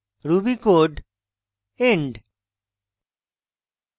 ruby code end